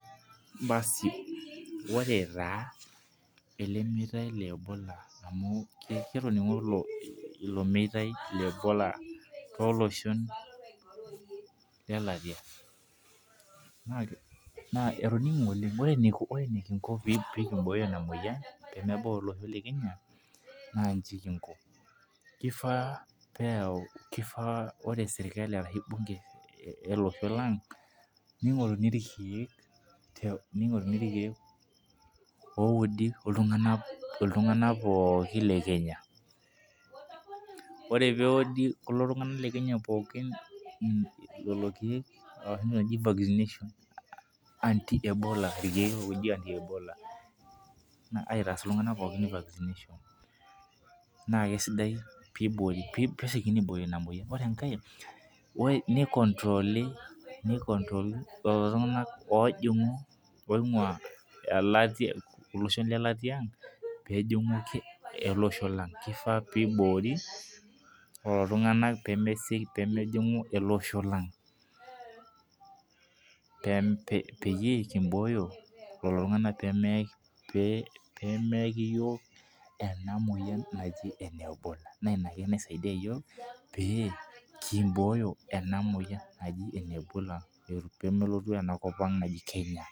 Basi ore taa ele meitai le ebola amu katoning'o ilo meitai le ebola tolooshon lelatia naa ketoninge oleng Ore enekingo peekimbooyo ina muoyian pee meebau ele osho le Kenya naa nchi kingo ; kifaa ore serkali arashu bunge ele osho lang ning'oru ilkiek oudi iltung'anak pooki le Kenya Ore peudi kulo tung'anak le Kenya pookin le kiek enoshi naji vaksineshen anti ebola naa aitaas iltung'anak pookin vaksineshon naa kesidai peesiokini aibooyo ina muoyian Ore engae nicontrooli lelo tung'anak oojing'u oing'ua ilosho lelatia ang' peejingu ele osho lang kifaa peiboori lelo tung'anak peemesioki peemejingu ele osho lang' Peyie kim'boooyo lelo tung'anak peemeeki iyiok ena muoyian naji ene ebola Naa ina ake naisaidia iyiok pee kimbooyo ena muoyian naji ene Ebola peemelotu enakop ang' naji Kenya